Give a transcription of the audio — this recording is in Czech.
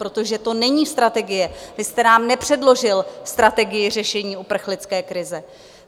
Protože to není strategie, vy jste nám nepředložil strategii řešení uprchlické krize.